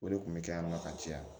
O de kun bɛ kɛ yan nɔ ka caya